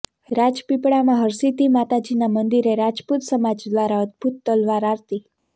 રાજપીપળામા હરિસિદ્ધિ માતાજીના મંદિરે રાજપૂત સમાજ દ્વારા અદભુત તલવાર આરતી